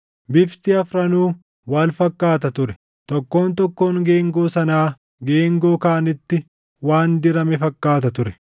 Bifti afranuu wal fakkaata ture; tokkoon tokkoon geengoo sanaa geengoo kaanitti waan dirame fakkaata ture.